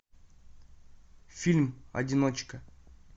фильм одиночка